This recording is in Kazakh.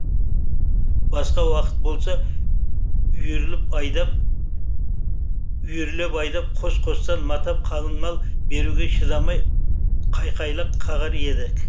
басқа уақыт болса үйірлеп айдап қос қостан матап қалыңмал беруге шыдамай қайқайлақ қағар едік